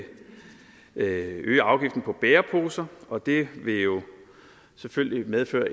øge afgiften på bæreposer og det vil jo selvfølgelig medføre